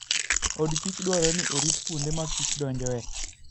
odkich dwarore ni orit kuonde ma Kich donjoe.